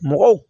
Mɔgɔw